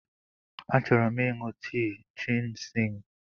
Achọrọ m ịṅụ tii jịnsịng.